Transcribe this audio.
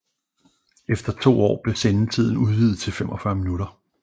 Efter to år blev sendetiden udvidet til 45 minutter